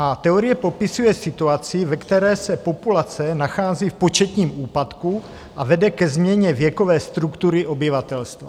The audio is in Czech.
A teorie popisuje situaci, ve které se populace nachází v početním úpadku a vede ke změně věkové struktury obyvatelstva.